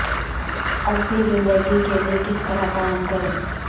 اب بھی زندگی کے لئے کس طرح قائم کریں